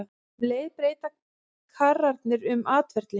Um leið breyta karrarnir um atferli.